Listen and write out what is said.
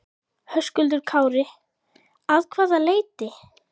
Höskuldur Kári: Að hvaða leyti?